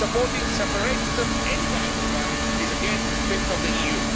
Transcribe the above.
Supporting separatism anywhere in the world is against the spirit of the EU.